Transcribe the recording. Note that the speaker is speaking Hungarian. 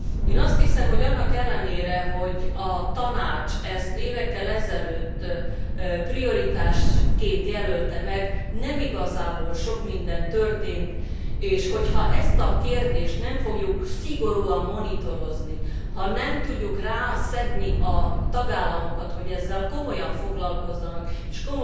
Én azt hiszem, hogy annak ellenére, hogy a Tanács ezt évekkel ezelőtt prioritásként jelölte meg, igazából nem sok minden történt, és hogyha ezt a kérdést nem fogjuk szigorúan monitorozni, ha nem tudjuk rászedni a tagállamokat, hogy ezzel komolyan foglalkozzanak és